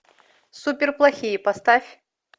суперплохие поставь